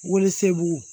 Wolosɛbɛn